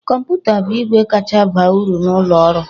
Kọmputa bụ igwe kacha baa uru n'ụlọ ọrụ